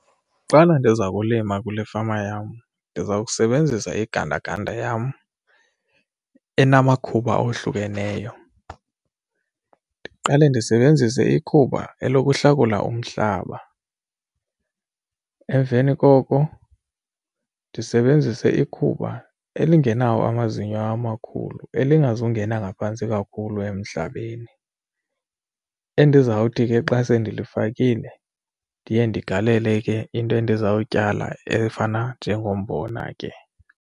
Xana ndiza kulima kule fama yam ndiza kusebenzisa igandaganda yam enamakhuba ohlukeneyo. Ndiqale ndisebenzise ikhuba elokuhlakula umhlaba, emveni koko ndisebenzise ikhuba elingenawo amazinyo amakhulu elingazungena ngaphantsi kakhulu emhlabeni. Endizawuthi ke xa sendilifakile ndiye ndindigalele ke into endizawutyala efana njengombona ke.